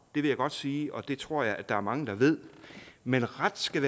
vil jeg godt sige og det tror jeg der er mange der ved men ret skal